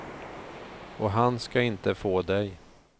Och han ska inte få dig.